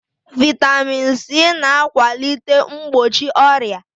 Vitamin C na akwalite mgbochi ọrịa